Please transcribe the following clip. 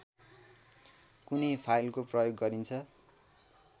कुनै फाइलको प्रयोग गरिन्छ